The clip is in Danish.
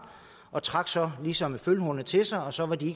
og trak så ligesom følehornene til sig og så var de